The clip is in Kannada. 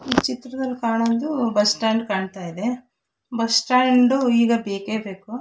ಈ ಚಿತ್ರದಲ್ಲಿ ಕಾಣೋದು ಬಸ್ ಸ್ಟಾಂಡ್ ಕಾಣತ್ತಾ ಇದೆ ಬಸ್ ಸ್ಟ್ಯಾಂಡು ಈಗ ಬೇಕೆಬೇಕು.